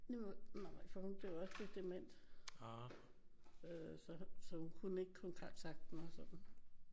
Nej for hun blev også lidt dement øh så hun kunne ikke kontakte dem og sådan